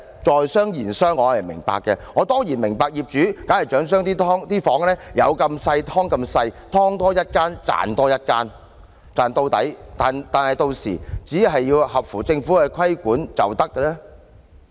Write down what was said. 在商言商，我當然明白業主必然想將房間盡量"劏"到最細小，"劏"多一間，便可賺取多一間的金錢，把利潤賺盡，只要符合政府的規管要求便行。